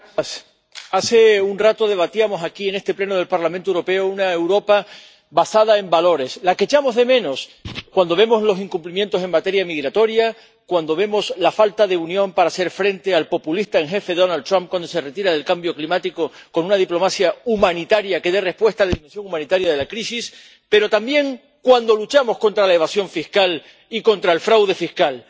Señor presidente. Hace un rato debatíamos aquí, en este Pleno del Parlamento Europeo, sobre una Europa basada en valores, la que echamos de menos cuando vemos los incumplimientos en materia migratoria, cuando vemos la falta de unión para hacer frente al populista en jefe Donald Trump cuando se retira del cambio climático con una diplomacia humanitaria que dé una respuesta humanitaria a la crisis, pero también cuando luchamos contra la evasión fiscal y contra el fraude fiscal.